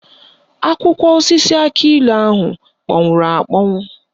Akwụkwọ osisi akịilụ ahụ kpọnwụrụ akpọnwụ